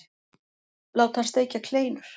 Láta hann steikja kleinur.